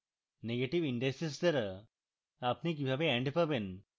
negative indices দ্বারা আপনি কিভাবে and পাবেন